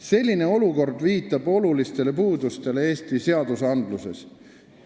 Selline olukord viitab olulistele puudustele Eesti õigusruumis.